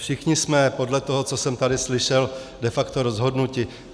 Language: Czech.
Všichni jsme podle toho, co jsem tady slyšel, de facto rozhodnuti.